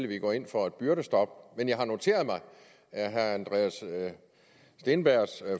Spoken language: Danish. vi går ind for et byrdestop men jeg har noteret mig at herre andreas steenbergs